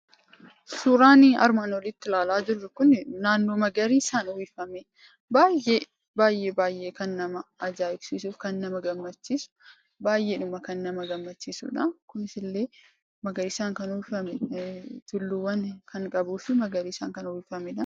Suuraan armaan olitti ilaalaa jirru kun naannoo magariisaan uwwifamee baay'ee kan nama ajaa'ibsiisuu fi nama gammachiisudha. Tulluuwwan magariisaan uwwifamee kan qabudha.